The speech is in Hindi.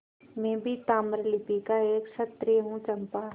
मैं भी ताम्रलिप्ति का एक क्षत्रिय हूँ चंपा